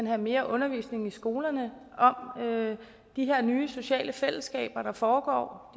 have mere undervisning i skolerne om de her nye sociale fællesskaber der foregår og